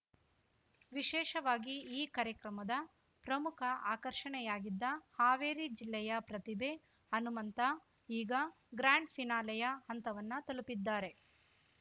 ವಿಶೇಷವಾಗಿ ಈ ಕಾರ್ಯಕ್ರಮದ ಪ್ರಮುಖ ಆಕರ್ಷಣೆಯಾಗಿದ್ದ ಹಾವೇರಿ ಜಿಲ್ಲೆಯ ಪ್ರತಿಭೆ ಹನುಮಂತ ಈಗ ಗ್ರಾಂಡ್‌ ಫಿನಾಲೆಯ ಹಂತವನ್ನ ತಲುಪಿದ್ದಾರೆ